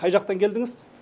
қай жақтан келдіңіз